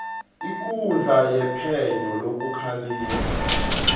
ikundla yephenyo lokukhalima